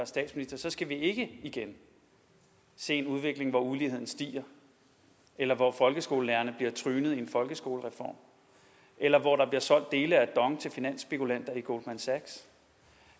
statsminister så skal vi ikke igen se en udvikling hvor uligheden stiger eller hvor folkeskolelærerne bliver trynet i en folkeskolereform eller hvor der bliver solgt dele af dong til finansspekulanter i goldman sachs